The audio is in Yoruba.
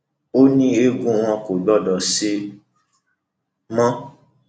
ó ní eegun wọn kò gbọdọ ṣe mọ